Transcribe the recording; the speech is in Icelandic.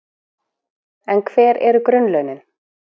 En hver eru grunnlaunin?